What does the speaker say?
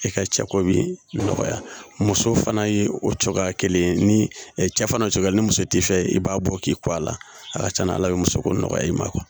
E ka cɛ komi nɔgɔya muso fana ye o cogoya kelen ye ni cɛ fana cɔcɔ ni muso t'i fɛ yen i b'a bɔ k'i ko a la a ka ca ala fɛ muso ko nɔgɔya i ma